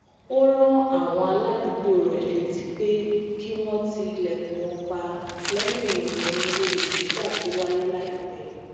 ó rán àwọn aládùúgbò rè létí pé kí wón ti ilèkùn wọn pa léyìn ìròyìn olè jíjà to waye laipẹ